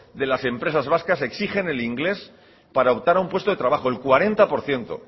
de las empresas vascas exigen el inglés para optar a un puesto de trabajo el cuarenta por ciento